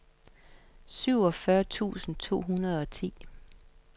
syvogfyrre tusind to hundrede og ti